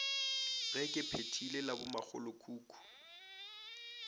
ge ke phethile la bomakgolokhukhu